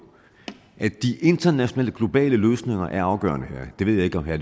de internationale globale løsninger er afgørende her jeg ved ikke om herre